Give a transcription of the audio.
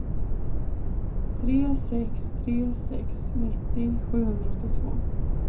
tre sex tre sex nittio sjuhundraåttiotvå